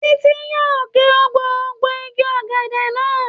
Títí yóò ge gbogbo igi ọ̀gẹ̀dẹ̀ náà.